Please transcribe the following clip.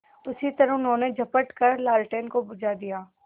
उसी तरह उन्होंने झपट कर लालटेन को बुझा दिया